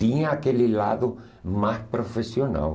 Tinha aquele lado mais profissional.